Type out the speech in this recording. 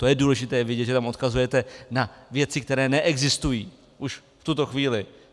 To je důležité vědět, že tam odkazujete na věci, které neexistují už v tuto chvíli.